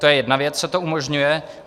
To je jedna věc, co to umožňuje.